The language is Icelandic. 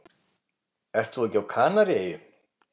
Ert þú ekki á Kanaríeyjum?